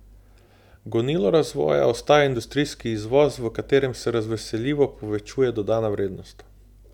Gonilo razvoja ostaja industrijski izvoz, v katerem se razveseljivo povečuje dodana vrednost.